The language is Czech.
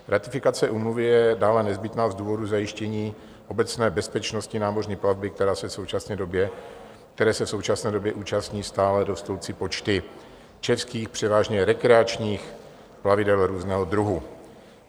Ratifikace úmluvy je dále nezbytná z důvodu zajištění obecné bezpečnosti námořní plavby, které se v současné době účastní stále rostoucí počty českých, převážně rekreačních plavidel různého druhu.